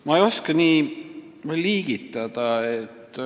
Ma ei oska nii liigitada.